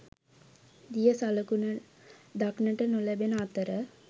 දිය සලකුණ දක්නට නොලැබෙන අතර